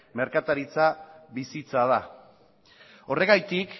merkataritza bizitza da horregatik